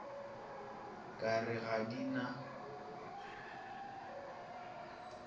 ka re ga di na